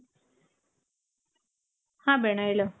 ಹಾ ಹೇಳು